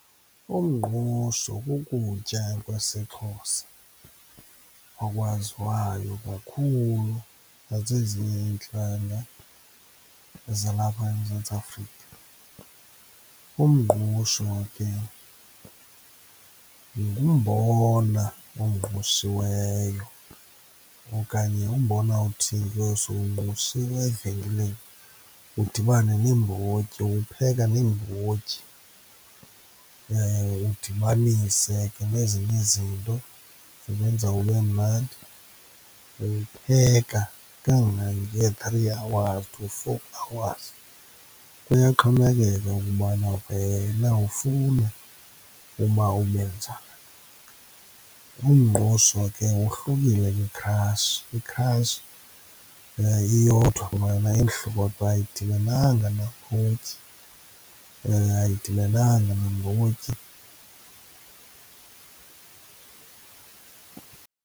Umngqusho kukutya kwesiXhosa okwaziwayo kakhulu nazezinye iintlanga zalapha eMzantsi Afrika. Umngqusho ke ngumbona ongqushiweyo okanye umbona othengwe sowungqushiwe evenkileni udibane neembotyi, uwupheka neembotyi, udibanise ke nezinye izinto ezenza ube mnandi. Uwupheka kangange-three hours to four hours, kuyaxhomekeka ukubana wena ufuna uba ubenjani. Umngqusho ke wohlukile kwikhrashi, ikhrashi iyodwa, yona imhlophe ayidibenanga neembotyi, ayidibenanga nambotyi.